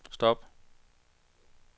stop